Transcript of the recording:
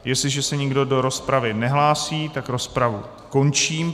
Jestliže se nikdo do rozpravy nehlásí, tak rozpravu končím.